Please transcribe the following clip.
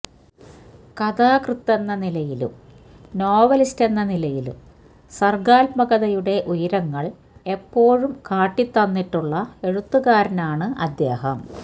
കഥാകൃത്തെന്ന നിലയിലും നോവലിസ്റ്റ് എന്ന നിലയിലും സര്ഗാത്മകതയുടെ ഉയരങ്ങള് എപ്പോഴും കാട്ടിത്തന്നിട്ടുള്ള എഴുത്തുകാരനാണ് അദ്ദേഹം